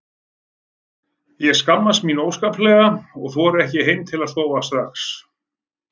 Ég skammaðist mín óskaplega og þorði ekki heim að sofa strax.